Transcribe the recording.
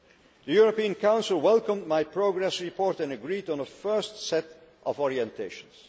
The European Council welcomed my progress report and agreed on a first set of orientations.